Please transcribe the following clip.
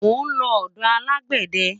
mo nlo odò alágbède